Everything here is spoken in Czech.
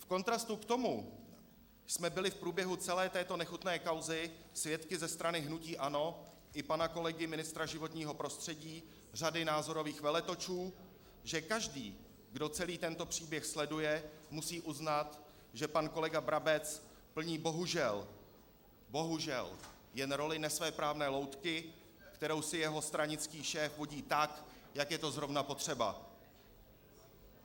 V kontrastu k tomu jsme byli v průběhu celé této nechutné kauzy svědky ze strany hnutí ANO i pana kolegy ministra životního prostředí řady názorových veletočů, že každý, kdo celý tento příběh sleduje, musí uznat, že pan kolega Brabec plní bohužel - bohužel - jen roli nesvéprávné loutky, kterou si jeho stranický šéf vodí tak, jak je to zrovna potřeba.